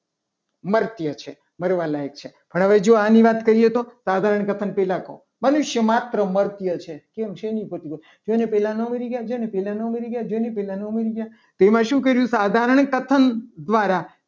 મરતે છે. મરવા મરવા લાયક છે. પણ હવે જો આની વાત કરીએ. તો સાધારણ કથન પહેલા કો મનુષ્યમાત્ર મરતે છે. કેમ છે. જો એની પહેલા ના મરી ગયા જો. એની પહેલા ના મરી ગયા. તેમાં શું કર્યું. સાધારણ સાધારણ કથન દ્વારા